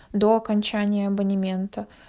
до окончания абонемента